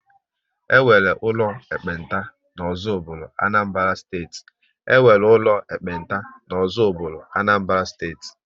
E nwere ụlọ ekpenta n'Ozubulu, Anambra Steeti